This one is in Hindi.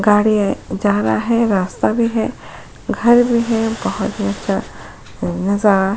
गाड़ी ए जा रहा है रास्ता में है घर भी है बहुत ही अच्छा नजारा --